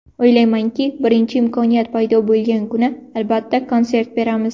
O‘ylaymanki, birinchi imkoniyat paydo bo‘lgan kuni, albatta, konsert beramiz.